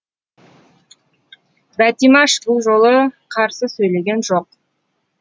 бәтимаш бұл жолы қарсы сөйлеген жоқ